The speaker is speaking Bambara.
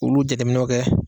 Olu jateminɛw kɛ